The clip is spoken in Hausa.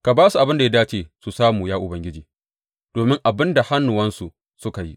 Ka ba su abin da ya dace su samu, ya Ubangiji, domin abin da hannuwansu suka yi.